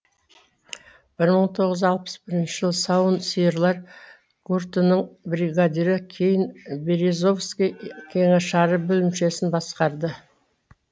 бір мың тоғыз жүз алпыс бірінші жылы сауын сиырлар гуртының бригадирі кейін березовский кеңшары бөлімшесін басқарды